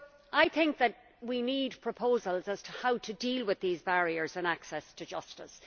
I think we need proposals on how to deal with these barriers on access to justice.